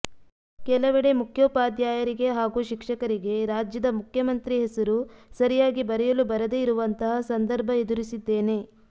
ಕೆಲವೆಡೆ ಮುಖ್ಯೋಪಾಧ್ಯಾಯರಿಗೆ ಹಾಗೂ ಶಿಕ್ಷಕರಿಗೆ ರಾಜ್ಯದ ಮುಖ್ಯಮಂತ್ರಿ ಹೆಸರು ಸರಿಯಾಗಿ ಬರೆಯಲು ಬರದೇ ಇರುವಂತಹ ಸಂದರ್ಭ ಎದುರಿಸಿದ್ದೇನೆ